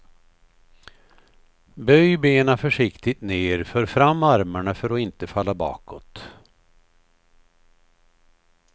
Böj benen försiktigt ner, för fram armarna för att inte falla bakåt.